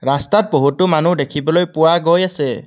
ৰাস্তাত বহুতো মানুহ দেখিবলৈ পোৱা গৈ আছে।